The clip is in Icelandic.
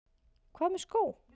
Hvað með skó?